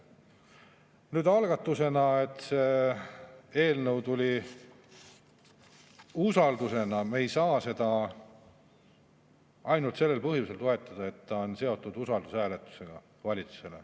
Nüüd, me ei saa seda eelnõu toetada ainult sellel põhjusel, et see on seotud usaldushääletusega.